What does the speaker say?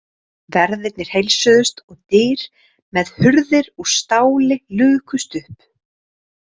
Verðirnir heilsuðust og dyr með hurðir úr stáli lukust upp.